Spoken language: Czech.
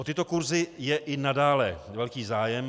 O tyto kurzy je i nadále velký zájem.